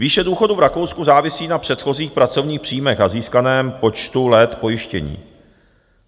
Výše důchodu v Rakousku závisí na předchozích pracovních příjmech a získaném počtu let pojištění.